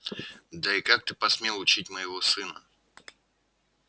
да и как ты посмел учить моего сына